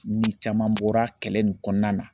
Ni caman bɔra kɛlɛ nin kɔnɔna na